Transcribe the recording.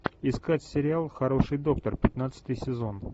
искать сериал хороший доктор пятнадцатый сезон